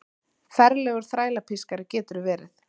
Ferlegur þrælapískari geturðu verið!